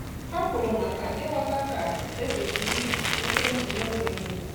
Há kwùrù màkà ị́ghọ́tá kà é kwésị́rị́ íjí ekwentị n’ógè nrí.